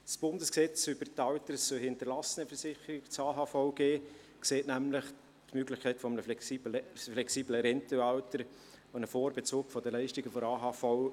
Das Bundesgesetz über die Alters- und Hinterlassenenversicherung (AHVG) sieht nämlich die Möglichkeit eines flexiblen Rentenalters vor sowie den Vorbezug der Leistungen der AHV.